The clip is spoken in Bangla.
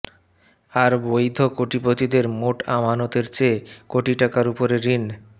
আর বৈধ কোটিপতিদের মোট আমানতের চেয়ে কোটি টাকার উপরে ঋণ